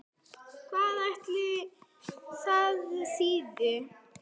Hvað ætli það þýði?